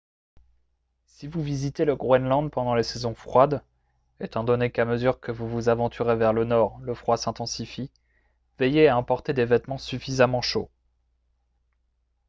si vous visitez le groenland pendant les saisons froides étant donné qu'à mesure que vous vous aventurez vers le nord le froid s'intensifie veillez à emporter des vêtements suffisamment chauds